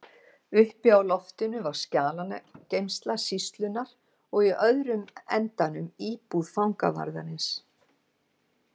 Uppi á loftinu var skjalageymsla sýslunnar og í öðrum endanum íbúð fangavarðar.